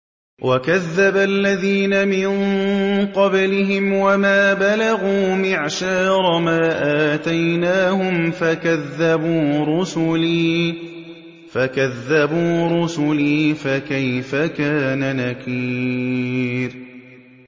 وَكَذَّبَ الَّذِينَ مِن قَبْلِهِمْ وَمَا بَلَغُوا مِعْشَارَ مَا آتَيْنَاهُمْ فَكَذَّبُوا رُسُلِي ۖ فَكَيْفَ كَانَ نَكِيرِ